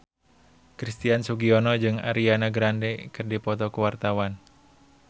Christian Sugiono jeung Ariana Grande keur dipoto ku wartawan